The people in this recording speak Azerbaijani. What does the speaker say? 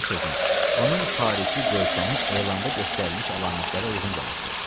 Bir sözlə, onun xarici görkəmi elanda göstərilmiş əlamətlərə uyğun gəlirdi.